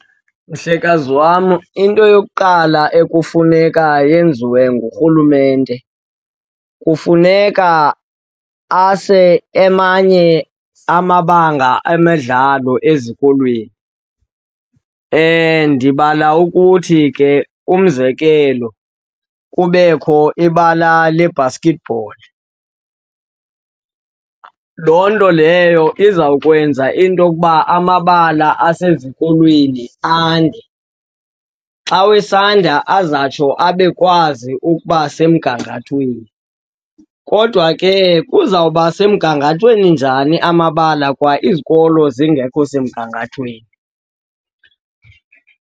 Mhlekazi wam, into yokuqala ekufuneka yenziwe ngurhulumente kufuneka ase amanye amabanga emidlalo ezikolweni. Ndibala ukuthi ke umzekelo, kubekho ibala le-basketball, loo nto leyo izawukwenza into okuba amabala asezikolweni ande. Xa wesandla azawutsho abekwazi ukuba semgangathweni. Kodwa ke kuzawuba semgangathweni njani amabala kwa izikolo zingekho semgangathweni?